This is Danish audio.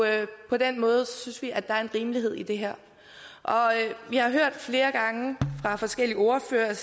på den måde synes vi at der er en rimelighed i det her vi har hørt flere gange fra forskellige ordførere